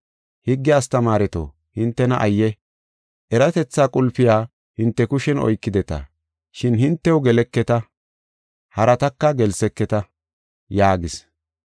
“Higge astamaareto, hintena ayye! Eratetha qulpiya hinte kushen oykideta, shin hintew geleketa harataka gelseketa” yaagis.